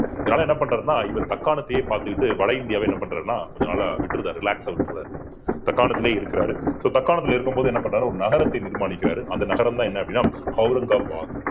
இதனால என்ன பண்றாருன்னா இவர் தக்காணத்தையே பார்த்துக்கிட்டு வட இந்தியாவை என்ன பண்றாருன்னா கொஞ்ச நாளா விட்டுடுறாரு relax அ விட்டுடுறாரு தக்காணத்திலேயே இருக்கிறாரு so தக்காணத்திலே இருக்கும்போது என்ன பண்றாரு ஒரு நகரத்தை நிர்மாணிக்கிறாரு அந்த நகரம்தான் என்ன அப்படின்னா அவுரங்காபாத்.